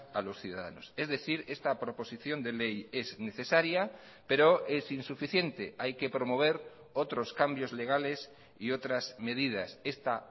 a los ciudadanos es decir esta proposición de ley es necesaria pero es insuficiente hay que promover otros cambios legales y otras medidas esta